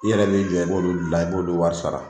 I yɛrɛ bɛ i jɔ i b'olu gilan i b'olu wari sara.